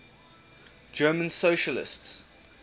german socialists